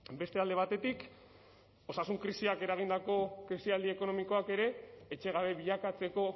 beste alde batetik osasun krisiak eragindako krisialdi ekonomikoak ere etxegabe bilakatzeko